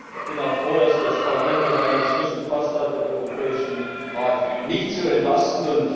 Ich bin auch froh, dass das Parlament heute den Beschluss gefasst hat, den Europäischen Rat nicht zu entlasten.